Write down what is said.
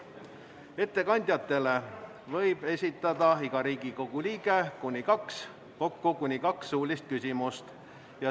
Ettekandjatele võib iga Riigikogu liige esitada kokku kuni kaks suulist küsimust.